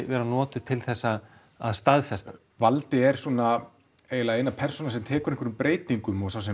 vera notuð til að að staðfesta valdi er svona eina persónan sem tekur einhverjum breytingum og